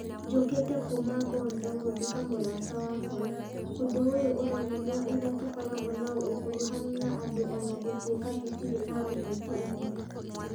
Njũkĩte kuuma Bondo gũthika mũrata wakwa . Ũndũ ũyũ ũronania ũrĩa tũkoragwo na ũkuruhanu na andũ o na gũtuĩka tũtirĩ a ũteti ũmwe.